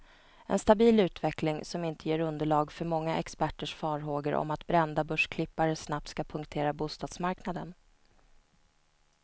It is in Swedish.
En stabil utveckling, som inte ger underlag för många experters farhågor om att brända börsklippare snabbt ska punktera bostadsmarknaden.